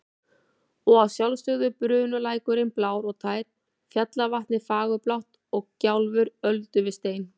Og að sjálfsögðu bunulækurinn blár og tær, fjallavatnið fagurblátt og gjálfur öldu við stein.